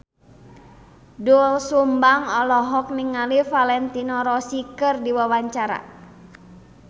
Doel Sumbang olohok ningali Valentino Rossi keur diwawancara